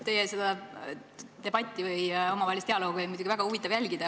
Teie seda debatti või omavahelist dialoogi oli muidugi väga huvitav jälgida.